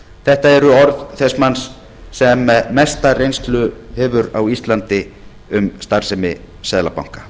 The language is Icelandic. þetta eru orð þess manns sem mesta reynslu hefur á íslandi á starfsemi seðlabanka